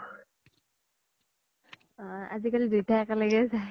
আজিকালি দুইতা একেলগে যাই